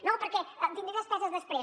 no perquè tindré despeses després